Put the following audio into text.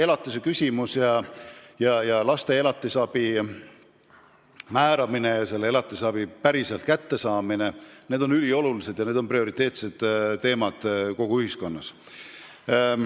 Tõepoolest, laste elatisraha määramine ning selle raha päriselt kättesaamine on üliolulised ja prioriteetsed teemad kogu ühiskonnas.